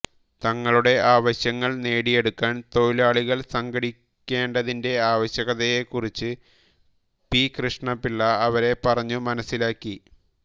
തങ്ങളുടെ ആവശ്യങ്ങൾ നേടിയെടുക്കാൻ തൊഴിലാളികൾ സംഘടിക്കേണ്ടതിന്റെ ആവശ്യകതയെക്കുറിച്ച് പി കൃഷ്ണപിള്ള അവരെ പറഞ്ഞു മനസ്സിലാക്കി